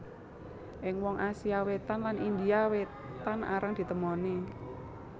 Ing wong Asia Wétan lan India Wétan arang ditemoni